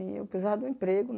E eu precisava de um emprego.